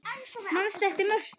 Manstu eftir Mörtu?